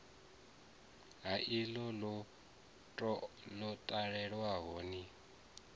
ha iḽo ḽo talelwaho ni